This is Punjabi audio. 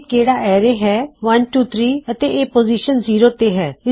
ਇਹ ਕਿਹੜਾ ਐਰੇ ਹੈ 123 ਅਤੇ ਇਹ ਪੋਜ਼ਿਸ਼ਨ ਜ਼ੀਰੋ ਤੇ ਹੈ